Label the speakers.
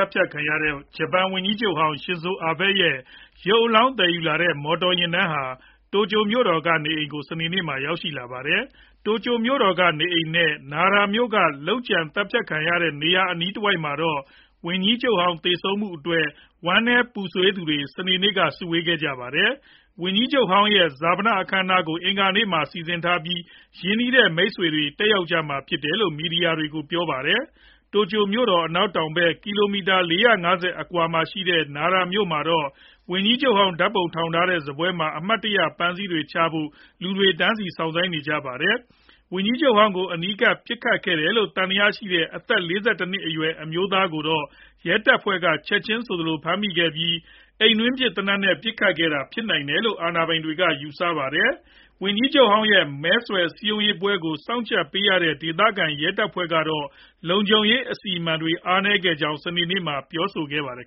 Speaker 1: တ်ဖြတ်ခံရတဲ့ ဂျပန် ဝန်ကြီးချုပ်ဟောင်း Shinzo Abe ရဲ့ ရုပ်အလောင်း သယ်ယူလာတဲ့ မော်တော်ယဉ်တန်းဟာ တိုကျိုမြို့တော်က နေအိမ်ကို စနေနေ့မှာ ရောက်ရှိလာပါတယ်။ တိုကျိုမြို့တော်က နေအိမ်နဲ့ Nara မြို့က လုပ်ကြံသတ်ဖြတ်ခံခဲ့ရတဲ့နေရာ အနီးတဝိုက်မှာတော့ ဝန်ကြီးချုပ်ဟောင်း သေဆုံးမှုအတွက် ဝမ်းနည်းပူဆွေးသူတွေ စနေနေ့က စုဝေးခဲ့ကြတာပါ။ ဝန်ကြီးချုပ်ဟောင်းရဲ့ ဈာပနအခမ်းအနားကို အင်္ဂါနေ့မှာ စီစဉ်ထားပြီး ရင်းနှီးတဲ့ မိတ်ဆွေတွေ တက်ရောက်ကြမှာဖြစ်တယ်လို့ မီဒီယာတွေကို ပြောပါတယ်။ တိုကျိုမြို့တော် အနောက်တောင်ဖက် ကီလိုမီတာ ၄၅၀ လောက်အကွာမှာရှိတဲ့ Nara မြို့မှာတော့ ဝန်ကြီးချုပ်ဟောင်း ဓာတ်ပုံထောင်ထားတဲ့ စားပွဲမှာ အမှတ်တရ ပန်းတွေချဖို့ လူတွေ တန်းစီစောင့်ဆိုင်းခဲ့ကြတာပါ။ ဝန်ကြီးချုပ်ဟောင်းကို အနီးကပ် ပစ်ခတ်ခဲ့တယ်လို့ သံသယရှိတဲ့ အသက် ၄၁ နှစ်အရွယ် အမျိုးသားကိုတော့ ရဲတပ်ဖွဲ့က ချက်ခြင်းဆိုသလို ဖမ်းဆီးမိခဲ့ပြီး၊ အိမ်တွင်းဖြစ် သေနတ်နဲ့ ပစ်ခတ်ခဲ့တာ ဖြစ်နိုင်တယ်လို့ အာဏာပိုင်တွေက ယူဆထားပါတယ်။ ဝန်ကြီးချုပ်ဟောင်းရဲ့ မဲဆွယ်စည်းရုံးပွဲကို စောင့်ကြပ်ပေးရတဲ့ ဒေသခံရဲတပ်ဖွဲ့ကတော့ လုံခြုံရေး အစီအမံတွေ အားနည်းခဲ့ကြောင်း စနေနေ့မှာ
Speaker 2: ပဲ ပြောဆိုခဲ့ပါတယ်